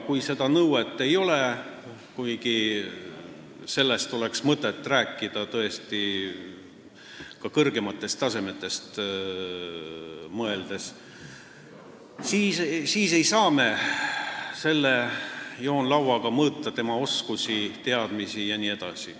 Kui sellist nõuet ei ole, kuigi sellest oleks tõesti mõtet rääkida ka kõrgetasemeliste kohtade puhul, siis me ei saa joonlauaga mõõta tema oskusi, teadmisi jne.